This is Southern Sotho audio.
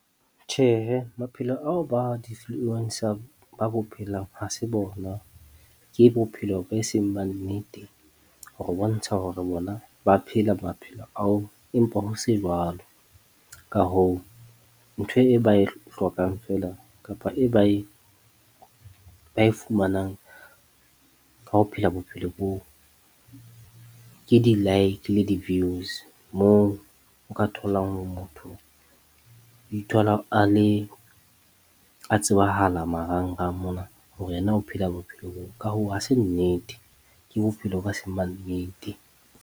Tjhehe, maphelo ao ba ba bo phelang ha se bona ke bophelo ba e seng ba nnete, ho re ho bontsha hore bona ba phela maphelo ao. Empa ho se jwalo ka hoo, ntho e ba e hlokang feela, kapa e ba e ba e fumanang. Ka ho phela bophelo boo ke di-like le di-views. Moo o ka tholang ho motho ithola a le a tsebahala marangrang mona hore yena ho phela bophelo bo ka hoo, ha se nnete, Ke bophelo ba semannete.